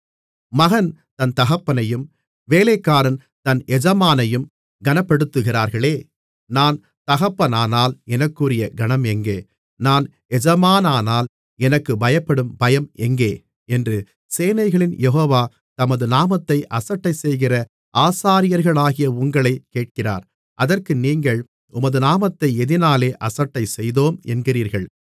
மகன் தன் தகப்பனையும் வேலைக்காரன் தன் எஜமானையும் கனப்படுத்துகிறார்களே நான் தகப்பனானால் எனக்குரிய கனம் எங்கே நான் எஜமானானால் எனக்குப் பயப்படும் பயம் எங்கே என்று சேனைகளின் யெகோவா தமது நாமத்தை அசட்டைசெய்கிற ஆசாரியர்களாகிய உங்களைக் கேட்கிறார் அதற்கு நீங்கள் உமது நாமத்தை எதினாலே அசட்டை செய்தோம் என்கிறீர்கள்